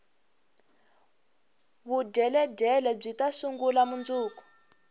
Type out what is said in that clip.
vudyeledyele byita sungula mundzuku